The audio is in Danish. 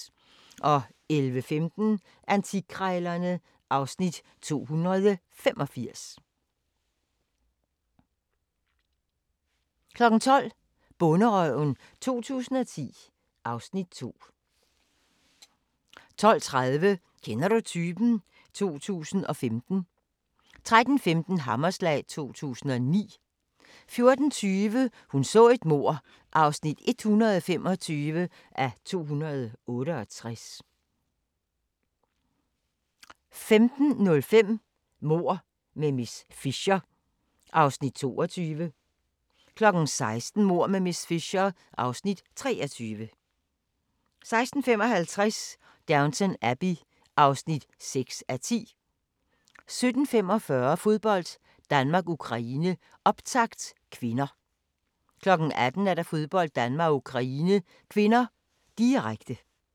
11:15: Antikkrejlerne (Afs. 285) 12:00: Bonderøven 2010 (Afs. 2) 12:30: Kender du typen? 2015 (2:8) 13:15: Hammerslag 2009 14:20: Hun så et mord (125:268) 15:05: Mord med miss Fisher (Afs. 22) 16:00: Mord med miss Fisher (Afs. 23) 16:55: Downton Abbey (6:10) 17:45: Fodbold: Danmark-Ukraine, optakt (k) 18:00: Fodbold: Danmark-Ukraine (k), direkte